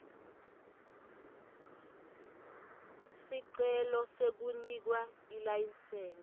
sicelo sekunikwa ilayisensi